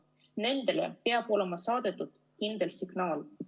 Nendele peab olema saadetud kindel signaal.